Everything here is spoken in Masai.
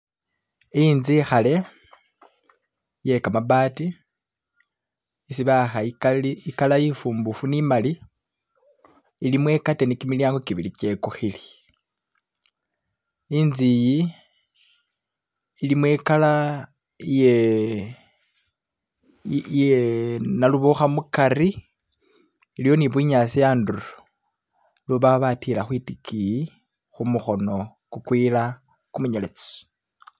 Inzu inkade iye gamabati isi bawaka ikala infumbufu ni'mali ilimo ikateni jimilyango jibili jigukile. Inzu iyi ilimo ikala iye iye naluboka mugati iliyo ni bunyasi antulo lubabatila kwidigini kumukono gugwila kumwinyelezi.